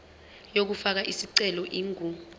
yokufaka isicelo ingu